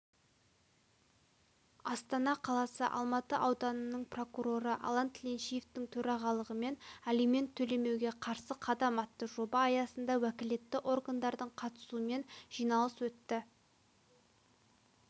астана қаласы алматы ауданының прокуроры алан тіленшиевтің төрағалығымен алимент төлемеуге қарсы қадам атты жоба аясында уәкілетті органдардың қатысумен жиналыс өтті